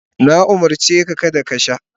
Na umurce ka kada ka sha.